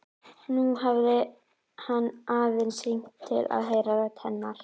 Nú hafði hann aðeins hringt til að heyra rödd hennar.